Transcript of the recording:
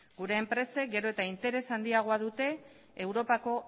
gure enpresek gero eta interes handiagoa dute europako